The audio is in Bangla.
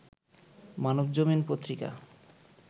মানবজমিন পত্রিকা